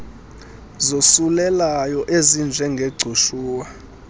zosulelayo ezinje ngegcushuwa